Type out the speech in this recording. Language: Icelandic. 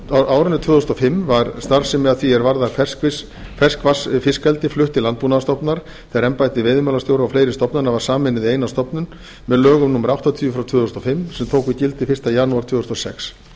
á árinu tvö þúsund og fimm var starfsemi að því er varðar ferskvatnsfiskeldi flutt til landbúnaðarstofnunar þegar embætti veiðimálastjóra og fleiri stofnana var sameinað í eina stofnun með lögum númer áttatíu tvö þúsund og fimm sem tóku gildi fyrsta janúar tvö þúsund og sex